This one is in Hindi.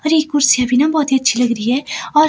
और ये कुर्सी अभी ना बहोत अच्छी लग रही है और--